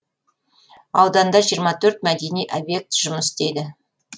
ауданда жиырма төрт мәдени объект жұмыс істейді